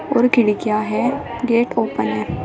और खिड़कियां हैं गेट ओपन है।